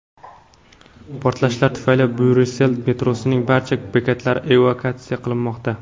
Portlashlar tufayli Bryussel metrosining barcha bekatlari evakuatsiya qilinmoqda.